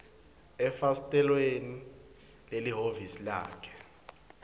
efasitelweni lelihhovisi lakhe